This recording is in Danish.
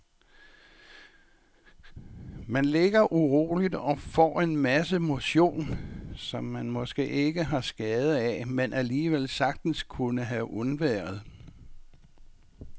Man ligger uroligt og får en masse motion, som man måske ikke har skade af, men alligevel sagtens kunne have undværet.